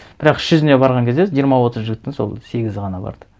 бірақ іс жүзіне барған кезде жиырма отыз жігіттің сол сегізі ғана барды